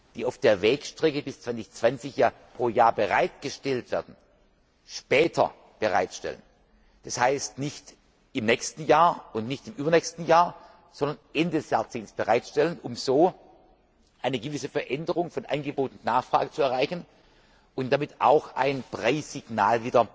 die auf der Wegstrecke bis 2020 pro Jahr bereitgestellt werden, später bereitstellen, das heißt, nicht im nächsten Jahr und nicht im übernächsten Jahr, sondern Ende des Jahrzehnts bereitstellen, um so eine gewisse Änderung von Angebot und Nachfrage zu erreichen und damit auch ein